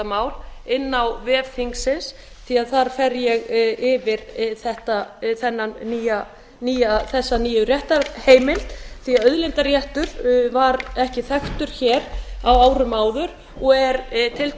mál inni á vef þingsins því þar fer ég yfir þessa nýju réttarheimild því að auðlindaréttur var ekki þekktur hér á árum áður og er